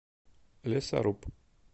лесоруб